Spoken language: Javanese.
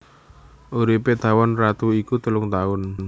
Uripé tawon ratu iku telung taun